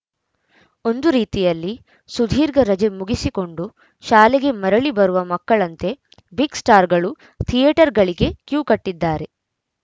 ಒಂದು ರೀತಿಯಲ್ಲಿ ಸುಧೀರ್ಘ ರಜೆ ಮುಗಿಸಿಕೊಂಡು ಶಾಲೆಗೆ ಮರಳಿ ಬರುವ ಮಕ್ಕಳಂತೆ ಬಿಗ್‌ಸ್ಟಾರ್‌ಗಳು ಥಿಯೇಟರ್‌ಗಳಿಗೆ ಕ್ಯೂ ಕಟ್ಟಿದ್ದಾರೆ